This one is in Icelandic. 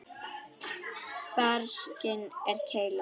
Barkinn er keila.